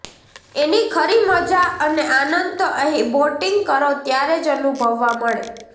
એની ખરી મજા અને આનંદ તો અહીં બોટીંગ કરો ત્યારે જ અનુભવવા મળે